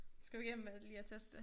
Skal vi igennem med lige at teste det